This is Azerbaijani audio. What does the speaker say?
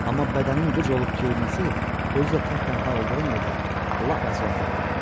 Amma bədənin qıc olub keyməsi, özü də tək-tənha olduğun yerdə, lap əclaflıqdır.